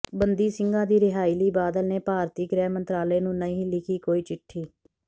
ਬੰਦੀ ਸਿੰਘਾਂ ਦੀ ਰਿਹਾਈ ਲਈ ਬਾਦਲ ਨੇ ਭਾਰਤੀ ਗ੍ਰਹਿ ਮੰਤਰਾਲੇ ਨੂੰ ਨਹੀਂ ਲਿਖੀ ਕੋਈ ਚਿੱਠੀ